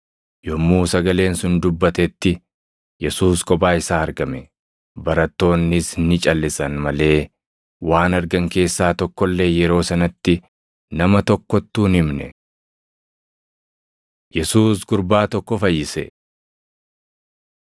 Yommuu sagaleen sun dubbatetti, Yesuus kophaa isaa argame. Barattoonnis ni calʼisan malee waan argan keessaa tokko illee yeroo sanatti nama tokkottuu hin himne. Yesuus Gurbaa Tokko Fayyise 9:37‑45 kwf – Mat 17:14‑18,22,23; Mar 9:14‑27,30‑32